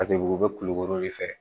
Paseke u bɛ kulukoro de fɛ